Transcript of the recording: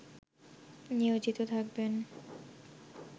নিয়োজিত থাকবেন